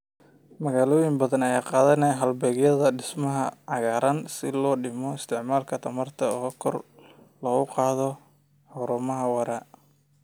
Magaalooyin badan ayaa qaadanaya halbeegyada dhismaha cagaaran si loo dhimo isticmaalka tamarta oo kor loogu qaado horumar waara.